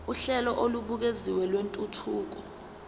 uhlelo olubukeziwe lwentuthuko